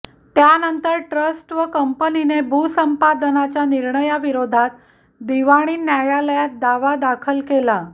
त्यानंतर ट्रस्ट व कंपनीने भूसंपादनाच्या निर्णयाविरोधात दिवाणी न्यायालयात दावा दाखल केला